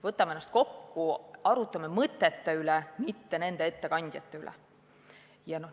Võtame ennast kokku, arutame mõtete üle, mitte nende ettekandjate üle!